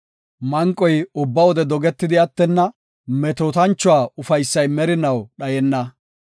Manqoy ubba wode dogetidi attenna; metootanchuwa ufaysay merinaw dhayenna.